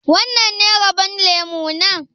Wannan ne rabon lemu na?